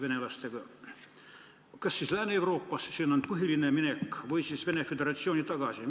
Minnakse kas Lääne-Euroopasse, sinna põhiliselt, või siis Venemaa Föderatsiooni tagasi.